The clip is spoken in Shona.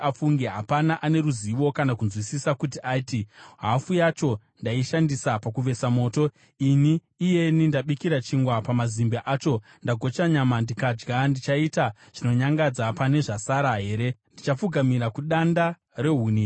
Hapana ane ruzivo kana kunzwisisa kuti ati, “Hafu yacho ndaishandisa pakuvesa moto; ini iyeni ndabikira chingwa pamazimbe acho, ndagocha nyama ndikadya. Ndichaita zvinonyangadza pane zvasara here? Ndichapfugamira kudanda rehuni here?”